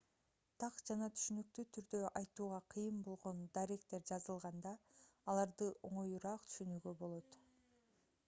так жана түшүнүктүү түрдө айтууга кыйын болгон даректер жазылганда аларды оңоюраак түшүнүүгө болот